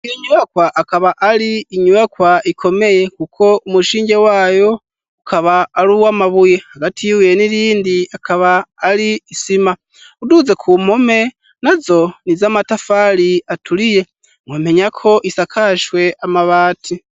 Iyo nyuyakwa akaba ari inyubakwa ikomeye kuko umushinge wayo ukaba ari uw'amabuye. Hagati yibuye n'irindi akaba ari isima. Uduze ku mpome nazo ni iz'amatafari aturiye. Mwomenya ko isakashwe amabati.